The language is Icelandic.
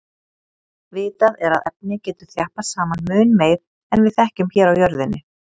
Vitað er að efni getur þjappast saman mun meir en við þekkjum hér á jörðinni.